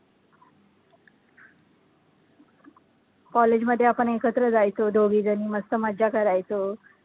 college मध्ये आपण एकत्र जायचो दोघीजणी मस्त मजा करायचो.